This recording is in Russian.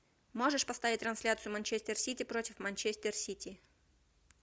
можешь поставить трансляцию манчестер сити против манчестер сити